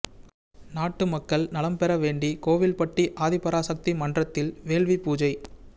நாட்டு மக்கள் நலன் பெற வேண்டி கோவில்பட்டி ஆதிபராசக்தி மன்றத்தில் வேள்வி பூஜை